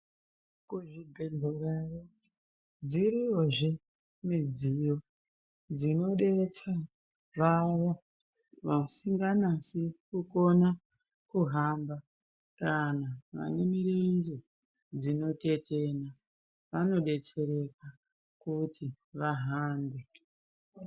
Kuzvibhedhlerayo dziriyozve midziyo dzinodetsa vaya vasikanyasi kukona kuhamba kana vane mirenje dzinotetena vanodetserwka kuti vahambe.